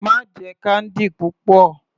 Má jẹ candy púpọ̀.